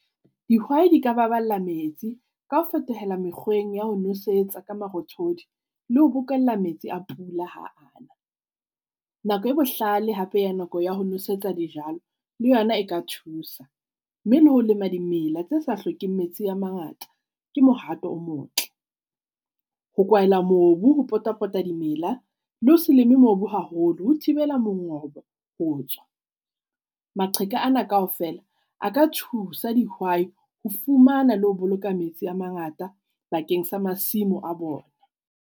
Dihwai di ka baballa metsi ka ho fetohela mekgweng ya ho nosetsa ka marothodi le ho bokella metsi a pula ha a na. Nako e bohlale hape ya nako ya ho nosetsa dijalo le yona e ka thusa, mme le ho lema dimela tse sa hlokeng metsi a mangata ke mohato o motle. Ho kwaela mobu ho pota-pota dimela le ho se leme mobu haholo ho thibela mongobo ho tswa. Maqheka ana kaofela a ka thusa dihwai ho fumana le ho boloka metsi a mangata bakeng sa masimo a bona.